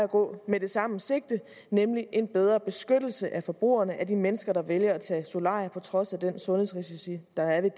at gå med det samme sigte nemlig en bedre beskyttelse af forbrugerne altså de mennesker der vælger at tage solarium på trods af de sundhedsrisici der er ved